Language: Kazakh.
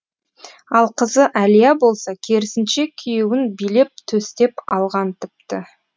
ал қызы әлия болса керісінше күйеуін билеп төстеп алған тіпті